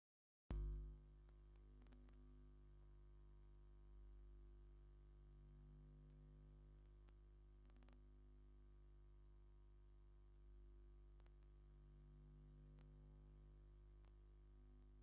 ካብ ልስሉስ መስተታት ሓደ ኣራዳ እንትኾውን ኣብዚ ሕዚ እዋን ልስሉስ መስተታት በበዝሒ እናተመረሉ እዩም። ኣነ ሓደሽቲ ዝመፁ መስተታት ምጥቓም ኣይፈትውን።